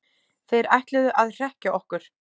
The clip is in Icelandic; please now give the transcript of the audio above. Þeir ætluðu að hrekkja okkur